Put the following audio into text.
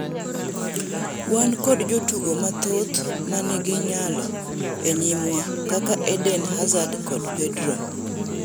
'Wan kod jotugo mathoth ma nigi nyalo e nyimwa kaka Eden Hazard kod Pedro.